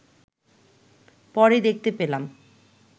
পরে দেখতে পেলাম